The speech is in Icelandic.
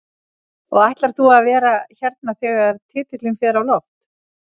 Og ætlar þú að vera hérna þegar titilinn fer á loft?